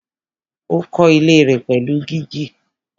Ó kọ́ ilé rẹ̀ pẹ̀lú gíjí.